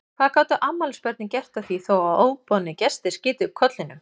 Hvað gátu afmælisbörnin gert að því þó að óboðnir gestir skytu upp kollinum?